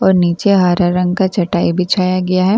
और नीचे हरा रंग का चटाई बिछाया गया है ।